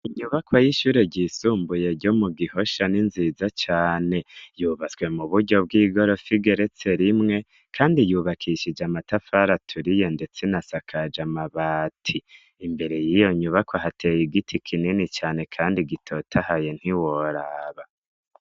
Inyubako y'ishure ryisumbuye ryo mu gihosha n'inziza cane yubatswe mu buryo bw'igorofigeretse rimwe, kandi yubakishije amatafari aturi ye, ndetse nasakaje amabati imbere y'iyo nyubako hateye igiti kinini cane, kandi gitotahaye ntiworaba.